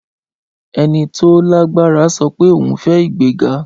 Ẹni tí ó lágbára sọ pé òun fẹ́ ìgbéga